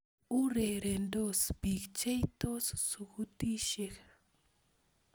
Urerendos bik, cheitos sukutitisiek